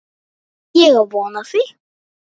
Ég á von á því.